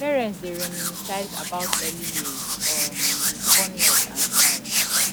parents dey reminisce about early years um with fondness and smiles